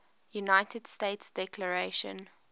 united states declaration